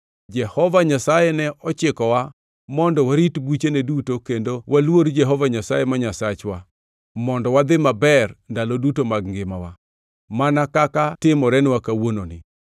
Jehova Nyasaye ne ochikowa mondo warit buchene duto kendo waluor Jehova Nyasaye ma Nyasachwa mondo wadhi maber ndalo duto mag ngimawa, mana kaka timorenwa kawuononi.